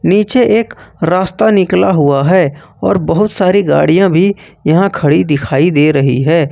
नीचे एक रास्ता निकाला हुआ है और बहुत सारी गाड़ियां भी यहां खड़ी दिखाई दे रही है।